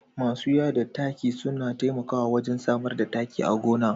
Masu yada taki suna taimakawa wajen samar da taki a gona